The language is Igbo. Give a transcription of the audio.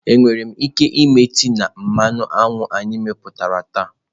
Enwere m ike me tee ya na mmanụ anyụ anyị meputá taa?